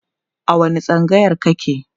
a wani tsangayar kake?